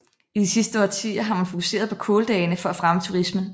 I de sidste årtier har man fokuseret på kåldagene for at fremme turismen